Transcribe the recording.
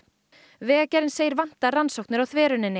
vegagerðin segir vanta rannsóknir á þveruninni